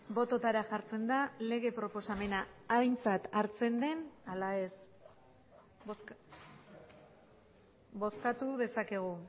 bototara jartzen da lege proposamena aintzat hartzen den ala ez bozkatu dezakegu